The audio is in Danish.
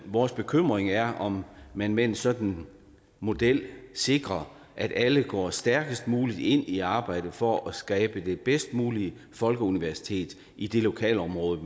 vores bekymring er om man med en sådan model sikrer at alle går stærkest muligt ind i arbejdet for at skabe det bedst mulige folkeuniversitet i det lokalområde